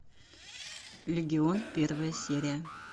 легион первая серия